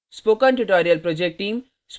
spoken tutorial project team